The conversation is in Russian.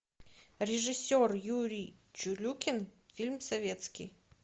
режиссер юрий чулюкин фильм советский